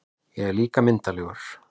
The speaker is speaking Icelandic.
En ég er líka myndarlegur